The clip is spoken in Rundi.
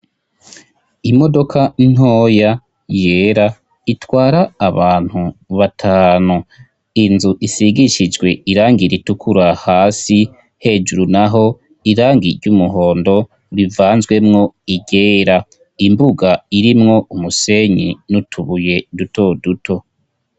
Imodoka ntoya yera itwara abantu batanu inzu isigishijwe irangi ritukura hasi hejuru naho irangi ry'umuhondo rivanzwemwo iryera imbuga irimwo umusenyi n'utubuye duto duto.